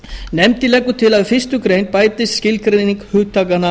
nefndin leggur til að við fyrstu grein bætist skilgreining hugtakanna